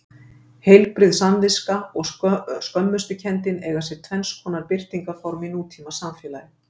Heilbrigð samviska og skömmustukenndin eiga sér tvenns konar birtingarform í nútímasamfélag.